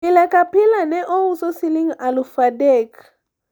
pile ka pile ne ouso siling' aluf adek